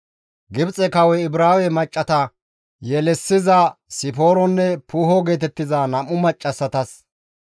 Gibxe kawoy Ibraawe maccassata yelissiza Sipooronne Puuho geetettiza nam7u maccassatas,